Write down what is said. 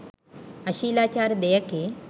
අශීලාචාර දෙයකි